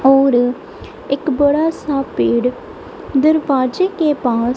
और ये एक बड़ा सा पेड़ दरवाजे के पास--